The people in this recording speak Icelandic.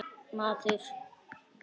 Maður hefur aldrei heilsað þessu.